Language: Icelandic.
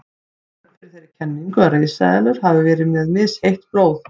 Rök fyrir þeirri kenningu að risaeðlur hafi verið með misheitt blóð.